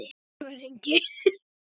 Sævar Ingi.